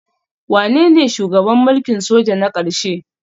Wanene shugaban mulkin soja na ƙarshe?